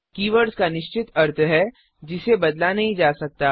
keywords का निश्चित अर्थ है जिसे बदला नहीं जा सकता